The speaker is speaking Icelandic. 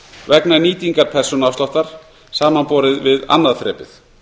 vegna nýtingar persónuafsláttar samanborið við annað þrepið